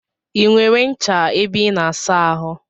I nwere ncha ebe I na asa ahụ?